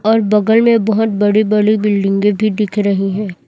और बगल में बहोत बड़ी बली बिल्डिंगे भीं दिख रहीं हैं।